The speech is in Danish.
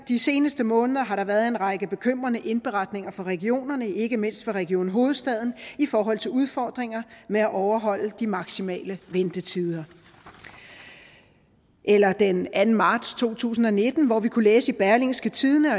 de seneste måneder har der været en række bekymrende indberetninger fra regionerne ikke mindst fra region hovedstaden i forhold til udfordringer med at overholde de maksimale ventetider eller den anden marts to tusind og nitten hvor vi kunne læse i berlingske tidende